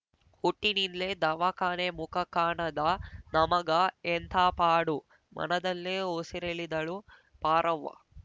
ಹುಟ್ಟಿನಿಂದ್ಲೆ ದವಾಖಾನೆ ಮುಖ ಕಾಣದ ನಮಗ ಎಂಥಾ ಪಾಡು ಮನದಲ್ಲೇ ಉಸುರೆಳೆದಳು ಪಾರವ್ವ